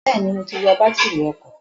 Bẹ́ẹ̀ni, mo ti yọ bátírì ọkọ̀